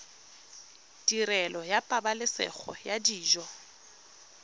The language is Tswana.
tirelo ya pabalesego ya dijo